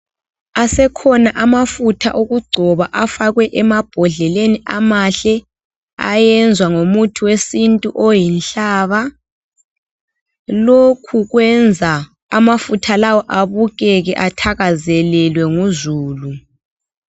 Asekhona amafutha okugcoba afakwe emabhodleleni amahle, ayenzwa ngomuthi wesintu oyinhlaba. Lokhu kwenza amafutha lawa abukeke athakazelelwe nguzulu.